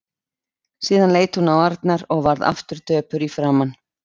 Síðan leit hún á Arnar og varð aftur döpur í framan.